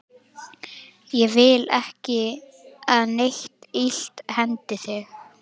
Ég vil ekki að neitt illt hendi þig.